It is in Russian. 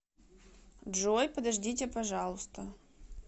джой подождите пожалуйста